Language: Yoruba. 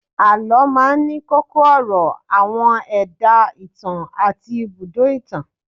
Àlọ́ máa ń ní kókó ọ̀rọ̀, àwọn ẹ̀dá ìtàn àti ibùdó itan